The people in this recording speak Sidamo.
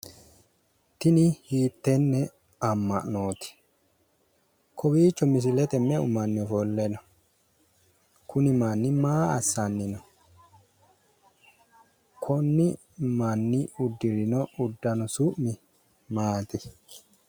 Tini hiittenne amma'nooti? Kowiichi misilete me'u manni ofole no? Kunni manni maa assanni no? Kunni manni udirino udano su'mi maati?